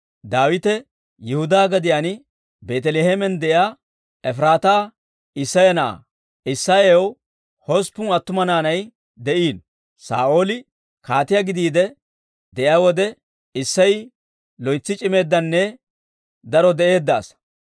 Daawite Yihudaa gadiyaan Beeteleheemen de'iyaa Efiraataa Isseya na'aa. Isseyaw hosppun attuma naanay de'iino; Saa'ooli kaatiyaa gidiide de'iyaa wode, Isseyi loytsi c'imeeddanne daro de'eedda asaa.